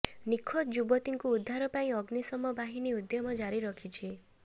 ନିଖୋଜ ଯୁବତୀଙ୍କୁ ଉଦ୍ଧାର ପାଇଁ ଅଗ୍ନିଶମ ବାହିନୀ ଉଦ୍ୟମ ଜାରି ରଖିଛି